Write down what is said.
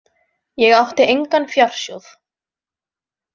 Ég átti engan fjársjóð.